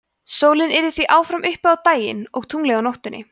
sólin yrði því áfram uppi á daginn og tunglið á nóttunni